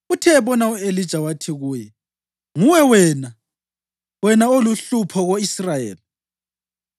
Uthe ebona u-Elija, wathi kuye, “Nguwe wena, wena oluhlupho ko-Israyeli?”